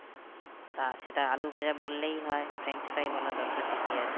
তা সেটা আলুভাজা বললেই হয় french fries বলার দরকার কি আছে